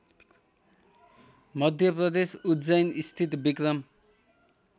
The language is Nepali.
मध्यप्रदेश उज्जैनस्थित विक्रम